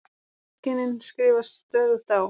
Feðginin skrifast stöðugt á.